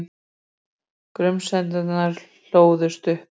Grunsemdirnar hlóðust upp.